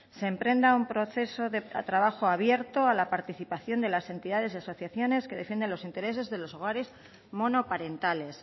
se emprenda un proceso de trabajo abierto a la participación de las entidades y asociaciones que defienden los intereses de los hogares monoparentales